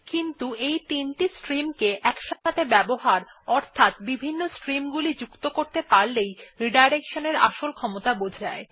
কিন্তু এই তিনটি স্ট্রিম কে একসাথে ব্যবহার অর্থাৎ বিভিন্ন স্ট্রিম গুলি যুক্ত কতে পারলে রিডাইরেকশন আসল ক্ষমতা বোঝা যায়